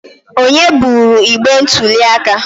Onye buru igbe ntuli aka?